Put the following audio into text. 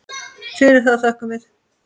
Fyrir það þökkum við.